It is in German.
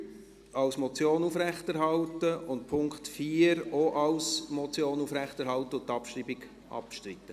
wird als Motion aufrechterhalten und Punkt 4 wird auch als Motion aufrechterhalten und die Abschreibung wird bestritten?